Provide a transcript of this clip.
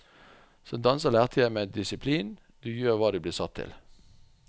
Som danser lærte jeg meg disiplin, du gjør hva du blir satt til.